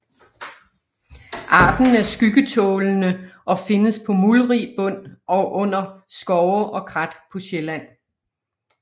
Arten er skyggetålende og findes på muldrig bund under skove og krat på Sjælland